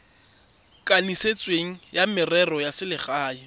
kanisitsweng wa merero ya selegae